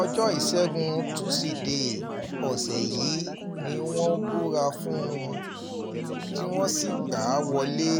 ọjọ́ ìṣègùn tusidee um ọ̀sẹ̀ yìí ni wọ́n um búra fún un tí wọ́n sì gbà á wọlé